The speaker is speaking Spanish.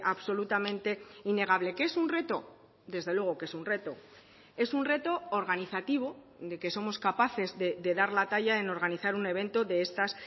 absolutamente innegable que es un reto desde luego que es un reto es un reto organizativo de que somos capaces de dar la talla en organizar un evento de estas